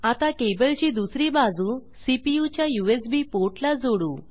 आता केबल ची दुसरी बाजू सीपीयू च्या यूएसबी पोर्ट ला जोडू